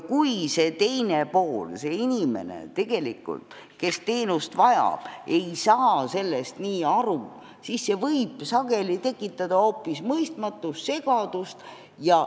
Kui aga see teine pool, see inimene, kes teenust vajab, ei saa sellest aru, siis võib see sageli tekitada hoopis mõistmatust ja segadust.